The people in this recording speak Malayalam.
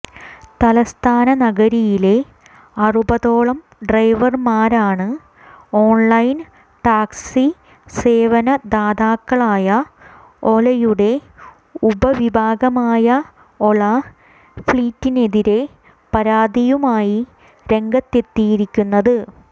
തലസ്ഥാന നഗരിയിലെ അറുപതോളം ഡ്രൈവര്മാരാണ് ഓണ്ലൈന് ടാക്സി സേവനദാതാക്കളായ ഒലയുടെ ഉപവിഭാഗമായ ഒല ഫ്ലീറ്റിനെതിരെ പരാതിയുമായി രംഗത്തെത്തിയിരിക്കുന്നത്